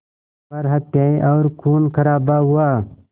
पर हत्याएं और ख़ूनख़राबा हुआ